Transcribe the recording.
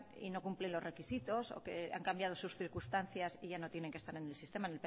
y no cumplen los requisitos o que han cambiado sus circunstancias y ya no tienen que estar en el sistema